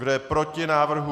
Kdo je proti návrhu?